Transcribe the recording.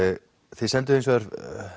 þið senduð hins vegar